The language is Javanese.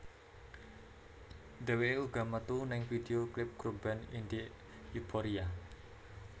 Dheweké uga metu ning video klip grup band Indi Euphoria